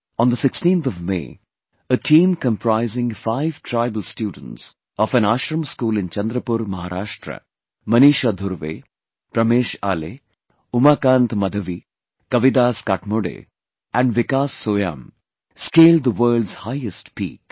On the 16th of May, a team comprising five tribal students of an Ashram School in Chandrapur, Maharashtra Maneesha Dhurve, Pramesh Ale, Umakant Madhavi, Kavidas Katmode and Vikas Soyam scaled the world's highest peak